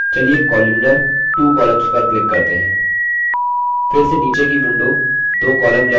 फिर से नीचे की window दो column लेआउट दर्शाने के लिए refreshed हो गई है